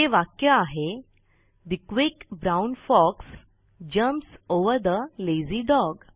ते वाक्य आहे The quick brown fox jumps over the lazy dog